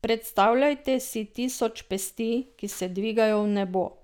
Predstavljajte si tisoč pesti, ki se dvigajo v nebo!